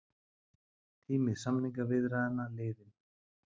Tími samningaviðræðna liðinn